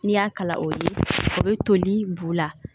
N'i y'a kala o ye o be toli b'u la